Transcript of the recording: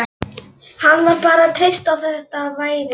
Hann varð bara að treysta á að þetta væri